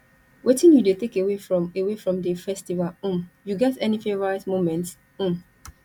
wetin you dey take away from away from di festival um you get any favorite momements um